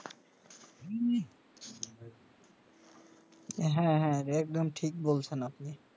হা হা একদম ঠিক বলসেন আপনি